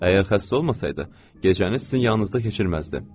Əgər xəstə olmasaydı, gecəni sizin yanınızda keçirməzdi.